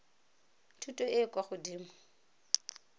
thuto e e kwa godimo